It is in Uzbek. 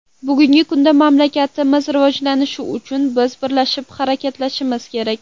Bugungi kunda mamlakatlarimiz rivojlanishi uchun biz birlashib harakatlanishimiz kerak.